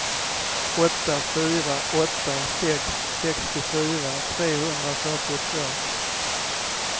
åtta fyra åtta sex sextiofyra trehundrafyrtiotvå